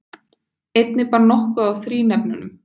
Einnig bar nokkuð á þrínefnum.